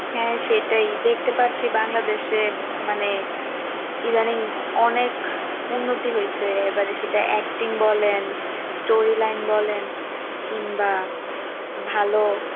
হ্যাঁ সেটাই, দেখতে পাচ্ছি বাংলাদেশে মানে ইদানিং, অনেক উন্নতি হয়ছে। এবার সেটা acting বলেন storyline বলেন কিংবা ভালো